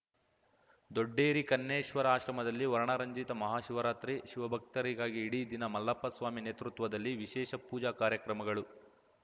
ದೊಡ್ಡೇರಿ ಕನ್ನೇಶ್ವರ ಆಶ್ರಮದಲ್ಲಿ ವರ್ಣರಂಜಿತ ಮಹಾಶಿವರಾತ್ರಿ ಶಿವಭಕ್ತರಿಗಾಗಿ ಇಡೀ ದಿನ ಮಲ್ಲಪ್ಪ ಸ್ವಾಮಿ ನೇತೃತ್ವದಲ್ಲಿ ವಿಶೇಷ ಪೂಜಾ ಕಾರ್ಯಕ್ರಮಗಳು